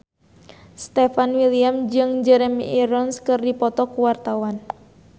Stefan William jeung Jeremy Irons keur dipoto ku wartawan